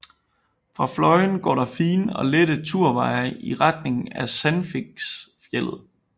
Fra Fløyen går der fine og lette turveje i retning Sandviksfjeldet